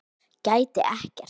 Gæti ekkert.